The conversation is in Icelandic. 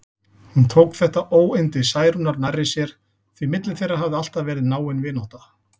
Hún tók þetta óyndi Særúnar nærri sér, því milli þeirra hafði alltaf verið náin vinátta.